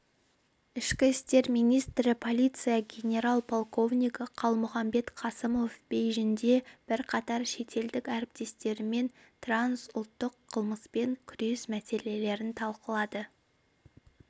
ішкі істер министрі полиция генерал-полковнигі қалмұханбет қасымов бейжіңде бірқатар шетелдік әріптестерімен трансұлттық қылмыспен күрес мәселелерін талқылады